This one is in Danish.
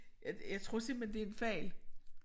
Jeg jeg tror simpelthen det en fejl